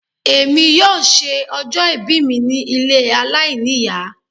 Èmi yóò ṣe ọjọ́ ìbí mi ní ilé aláìníìyá.